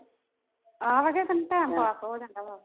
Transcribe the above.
ਆਹੋ ਹੋ time pass ਹੋ ਜਾਂਦਾ ਵਾ